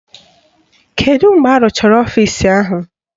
Kedu mgbe arụchara ọfisi ahụ?